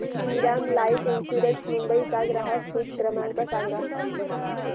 Shriram life insurance Mumbai चा ग्राहक हित क्रमांक सांगा